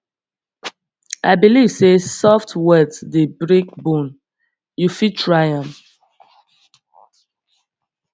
i believe sey soft words dey break bone you fit try am